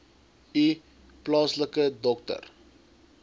u plaaslike dokter